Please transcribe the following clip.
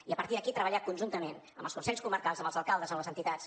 i a partir d’aquí treballar conjuntament amb els consells comarcals amb els alcaldes amb les entitats